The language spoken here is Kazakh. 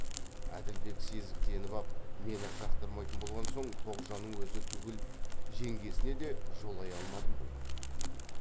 әділбек сезіктеніп ап мені жақтырмайтын болған соң тоғжанның өзі түгіл жеңгесіне де жолай алмадым ғой